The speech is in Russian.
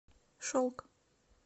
шелк